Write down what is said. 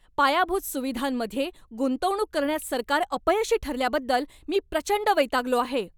पायाभूत सुविधांमध्ये गुंतवणूक करण्यात सरकार अपयशी ठरल्याबद्दल मी प्रचंड वैतागलो आहे.